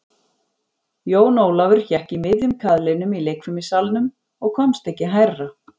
Jón Ólafur hékk í miðjum kaðlinum í leikfimissalnum og komst ekki hærra.